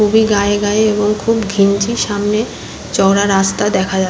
খুবই গায়ে গায়ে এবং খুব ঘিঞ্জি সামনে চওড়া রাস্তা দেখা যা--